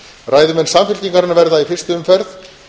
ræðumenn samfylkingarinnar verða í fyrstu umferð